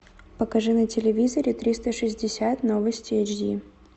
покажи на телевизоре триста шестьдесят новости эйч ди